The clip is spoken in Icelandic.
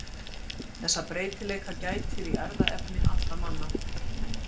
Þessa breytileika gætir í erfðaefni allra manna.